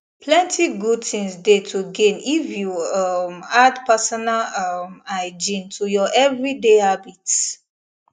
plenty good things dey to gain if you um add personal um hygiene to your everyday habits